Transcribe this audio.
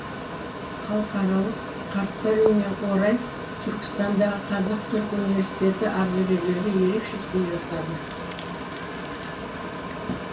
халықаралық қарттар күніне орай түркістандағы қазақ түрік университеті ардагерлерге ерекше сый жасады